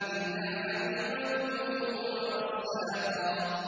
إِلَّا حَمِيمًا وَغَسَّاقًا